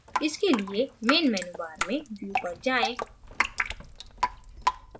इसके लिये main menu bar में view पर जायें